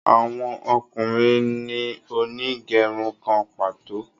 Àwọn ọkùnrin ní Onigerun kán pàtó.